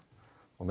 og